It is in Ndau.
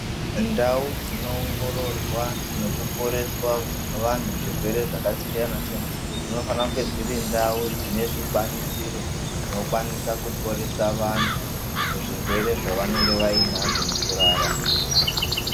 Ndau dzinoongororwa nokuporeswa vanhu zvirwere zvakasiyana-siyana, dzinofanira kunge dziri ndau dzine zvikwanisiro, zvinokwanisa kuporesa vantu muzvirwere zvavanonge vainazvo mukurarama.